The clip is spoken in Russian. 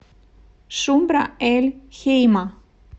шубра эль хейма